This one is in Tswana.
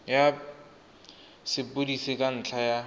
ya sepodisi ka ntlha ya